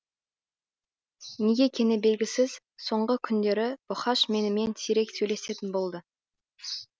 неге екені белгісіз соңғы күндері бұқаш менімен сирек сөйлесетін болды